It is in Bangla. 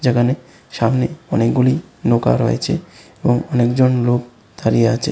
এখানে সামনে অনেকগুলি নৌকা রয়েছে এবং অনেকজন লোক দাঁড়িয়ে আছে।